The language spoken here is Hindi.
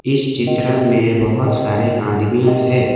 इस चित्र में बहुत सारे आदमिया है।